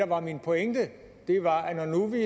var min pointe var